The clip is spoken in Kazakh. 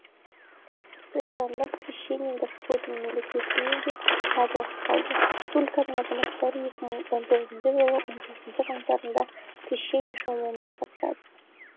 христиандық крещение господне мерекесіне де аз уақыт қалды республиканың азаматтары екі мың он тоғызыншы жылы он тоғызыншы қаңтарда крещение шомылуына қатысады